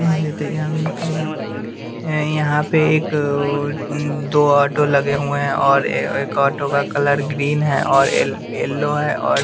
यहाँ पे एक दो ऑटो लगे हुए हैं और एक ऑटो का कलर ग्रीन है और येलो है और --